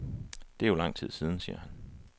Det er jo lang tid siden, siger han.